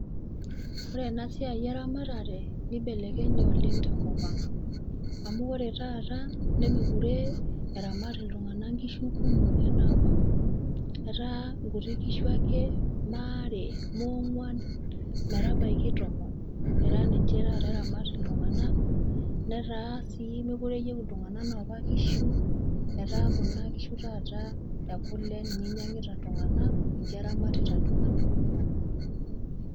Ore ena siai eramatare nibelekenye oleng' tenkopang'. Amu ore taata nemekure eramat iltung'ana nkishu kumok anaa apa, etaa nkuti kishu ake moaare, moong'uan, metabaiki tomon eta ninche taata eramat iltung'ana netaa sii mekore eyou iltung'ana nopa kishu etaa kuna kishu tataa e kule ninye einyang'ita iltung'ana, ninche eramatita iltung'ana kumok.